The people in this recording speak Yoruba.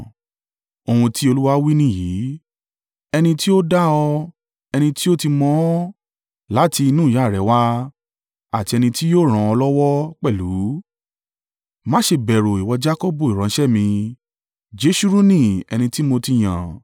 Ohun tí Olúwa wí nìyìí ẹni tí ó dá ọ, ẹni tí ó ti mọ̀ ọ́n láti inú ìyá rẹ wá, àti ẹni tí yóò ràn ọ́ lọ́wọ́ pẹ̀lú. Má ṣe bẹ̀rù, ìwọ Jakọbu, ìránṣẹ́ mi, Jeṣuruni ẹni tí mo ti yàn.